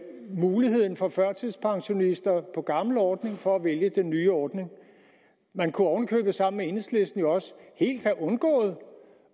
muligheden for førtidspensionister på gammel ordning for at vælge den nye ordning man kunne oven i købet sammen med enhedslisten også helt have undgået